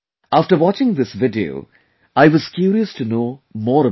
After watching this video, I was curious to know more about it